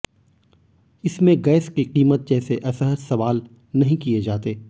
इसमें गैस की कीमत जैसे असहज सवाल नहीं किए जाते